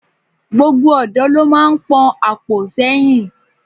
Gbogbo ọ̀dọ́ lo máa ń pon àpò sẹ́yìn.